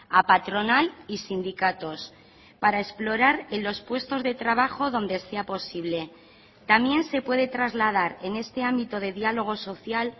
a patronal y sindicatos para explorar en los puestos de trabajo donde sea posible también se puede trasladar en este ámbito de diálogo social